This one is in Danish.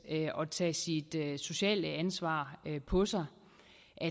og tage sit sociale ansvar på sig